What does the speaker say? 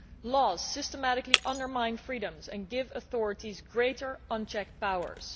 Laws systematically undermine freedoms and give authorities greater unchecked powers.